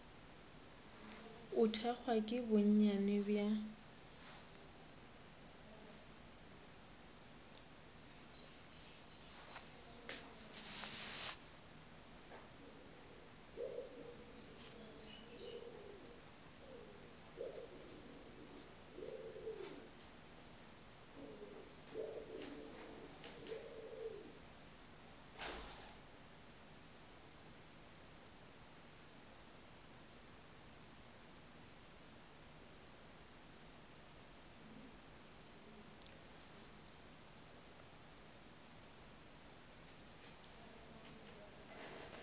o thekgwa ke bonnyane bja